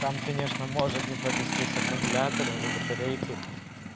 там конечно может не повезти с аккумулятором и батарейкой